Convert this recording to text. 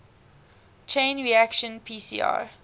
chain reaction pcr